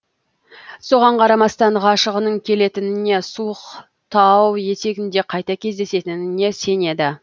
соған қарамастан ғашығының келетініне суық тау етегінде қайта кездесетініне сенеді